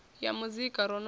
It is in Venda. ya muzika ro no ḓi